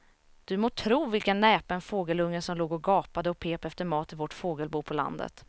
Du må tro vilken näpen fågelunge som låg och gapade och pep efter mat i vårt fågelbo på landet.